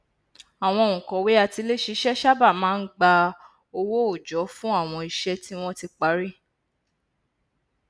àwọn ònkọwé atiléṣiṣẹ sáabà máa n gba owó òòjọ fún àwọn iṣẹ tí wọn ti parí